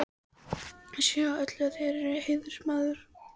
Ég sé á öllu, að þér eruð heiðursmaður.